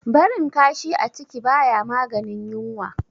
Barin kashi a ciki baya maganin yunwa.